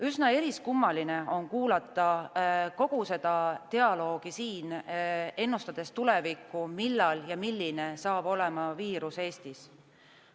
Üsna eriskummaline on kuulata kogu seda dialoogi siin, ennustades tulevikku, milline saab olema viiruse kulg Eestis.